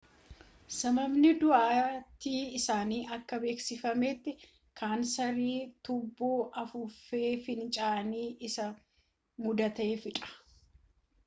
sababiin du'aatii isaa akka beeksifametti kansaari tuubboo afuuffee fincaanii isa mudateefiidha